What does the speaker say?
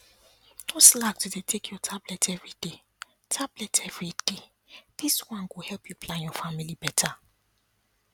no slack to dey take your tablet everyday tablet everyday this one go help you plan your family better